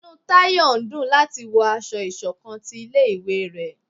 Inú tayo n dún lati wọ ásọ̀-ìsokán tí ilé ìwé ré